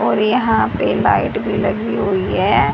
और यहा पे लाइट भी लगी हुई है।